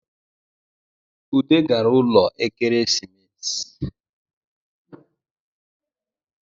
Ude gara ụlọ Ekeresimesi